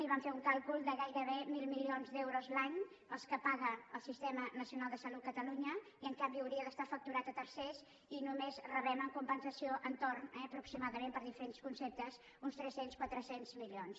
i vam fer un càlcul de gairebé mil milions d’euros l’any els que paga al sistema nacional de salut catalunya i en canvi hauria d’estar facturat a tercers i només rebem en compensació entorn eh aproximadament per diferents conceptes d’uns tres cents quatre cents milions